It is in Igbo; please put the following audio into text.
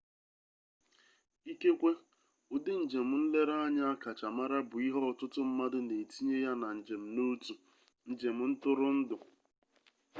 ikekwe ụdị njem nlereanya akacha mara bụ ihe ọtụtụ mmadụ na-etinye ya na njem n'otu njem ntụrụndụ